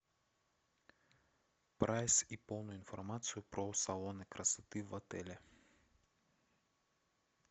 прайс и полную информацию про салоны красоты в отеле